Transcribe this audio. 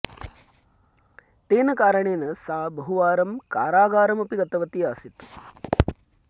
तेन कारणेन सा बहुवारं कारागारम् अपि गतवती आसीत्